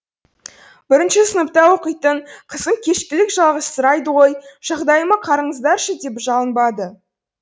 бірінші сыныпта оқитын қызым кешкілік жалғызсырайды ғой жағдайыма қараңыздаршы деп жалынбады